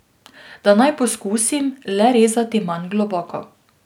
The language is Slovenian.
Da naj poskusim le rezati manj globoko.